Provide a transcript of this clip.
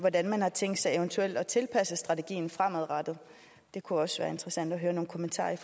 hvordan man har tænkt sig eventuelt at tilpasse strategien fremadrettet det kunne også være interessant at høre nogle kommentarer